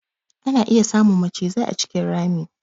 Ana iya samun macizai a cikin rami.